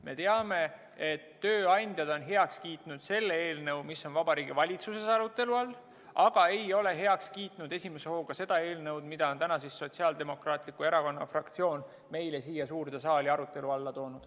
Me teame, et tööandjad on heaks kiitnud selle eelnõu, mis on Vabariigi Valitsuses arutelu all, aga ei ole esimese hooga heaks kiitnud seda eelnõu, mille on Sotsiaaldemokraatliku Erakonna fraktsioon meile täna siia suurde saali arutelule toonud.